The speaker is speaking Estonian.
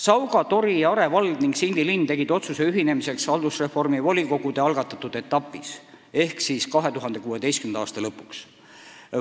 " Sauga, Tori ja Are vald ning Sindi linn tegid otsuse ühineda haldusreformi volikogude algatatud etapis ehk siis 2016. aasta lõpuks.